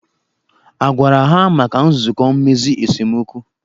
A gwara ha maka nzụkọ mmezi esemokwu?